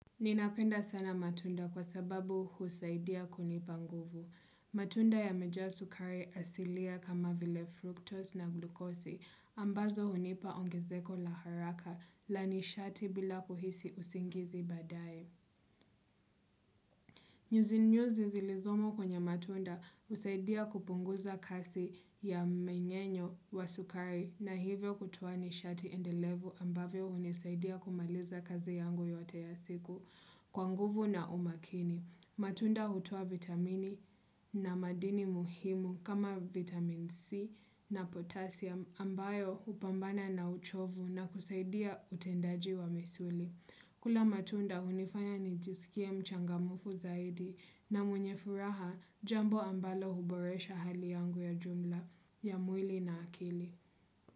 Ninapenda sana matunda kwa sababu husaidia kunipa nguvu. Matunda yamejaa sukari asilia kama vile fructose na glukosi ambazo hunipa ongezeko la haraka la nishati bila kuhisi usingizi baadaye. Nyuzi nyuzi zilizomo kwenye matunda husaidia kupunguza kasi ya mmengenyo wa sukari na hivyo kutoa nishati endelevu ambavyo hunisaidia kumaliza kazi yangu yote ya siku kwa nguvu na umakini. Matunda hutka vitamini na madini muhimu kama vitamin C na potassium ambayo hupambana na uchovu na kusaidia utendaji wa misuli. Kula matunda hunifanya nijisikie mchangamfu zaidi na mwenye furaha jambo ambalo huboresha hali yangu ya jumla ya mwili na akili.